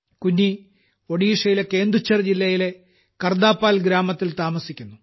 കുന്നി ഒഡീഷയിലെ കേന്ദുഛർ ജില്ലയിലെ കർദാപാൽ ഗ്രാമത്തിൽ താമസിക്കുന്നു